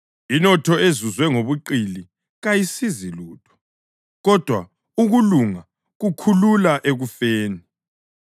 Inotho ezuzwe ngobuqili kayisizi lutho, kodwa ukulunga kukhulula ekufeni.